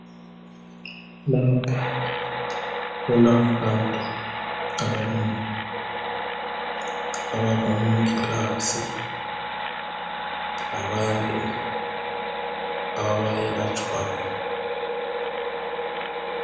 Lapha kulabantu abanengi abangomongikazi labantu abayelatshwayo.